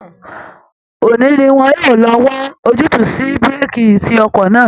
Òní ni wọn yóò lọ wá ojútùú sí búréèkì tí ọkọ̀ náà